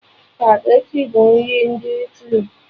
Spageti bụ nri ndị Italy